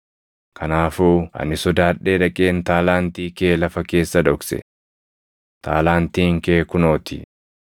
Kanaafuu ani sodaadhee dhaqeen taalaantii kee lafa keessa dhokse. Taalaantiin kee kunoo ti.’